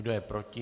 Kdo je proti?